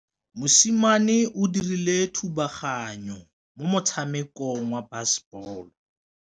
Mosimane o dirile thubaganyô mo motshamekong wa basebôlô.